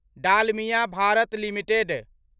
Dalmia Bharat limited